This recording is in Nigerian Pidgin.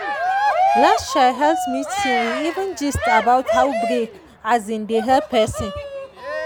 last um health meeting we even gist about how break um dey help person.